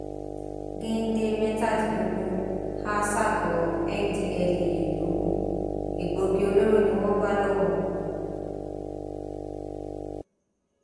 gèdè mẹtàdínlógún há sákòó ndtea logun egbòogi olóró ni wọn bá lọwọ wọn